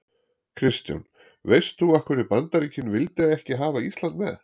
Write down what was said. Kristján: Veist þú af hverju Bandaríkin vildu ekki hafa Ísland með?